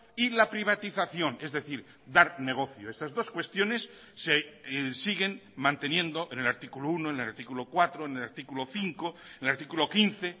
y la privatización es decir dar negocio esas dos cuestiones se siguen manteniendo en el artículo uno en el artículo cuatro en el artículo cinco en el artículo quince